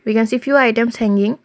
we can see few items hanging.